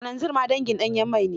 Kananzir ma dangin ɗanyen mai ne.